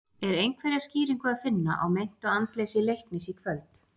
Er einhverja skýringu að finna á meintu andleysi Leiknis í kvöld?